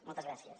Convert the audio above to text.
moltes gràcies